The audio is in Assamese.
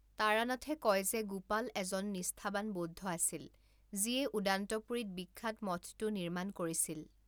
তাৰানাথে কয় যে, গোপাল এজন নিষ্ঠাবান বৌদ্ধ আছিল, যিয়ে ওদান্তপুৰীত বিখ্যাত মঠটো নিৰ্মাণ কৰিছিল।